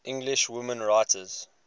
english women writers